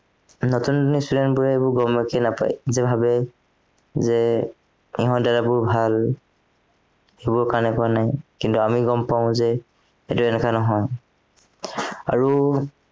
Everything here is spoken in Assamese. নতুন student বোৰে সেইবোৰ গমকে নাপায় সিহঁতে ভাৱে যে সিহঁত দাদবোৰ ভাল সেইবোৰৰ কাৰণে ভয় নাই কিন্তু আমি গম পাও যে সেইটো এনেকুৱা নহয়, আৰু